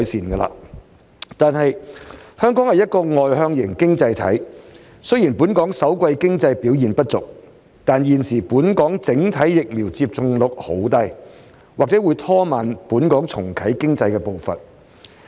然而，香港是一個外向型經濟體，雖然首季經濟表現不俗，但現時本港整體疫苗接種率低，或會拖慢重啟經濟的步伐。